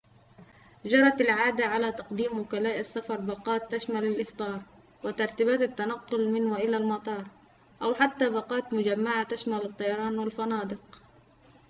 جرت العادة على تقديم وكلاء السفر باقات تشمل الإفطار وترتيبات التنقل من وإلى المطار أو حتى باقات مجمّعة تشمل الطيران والفنادق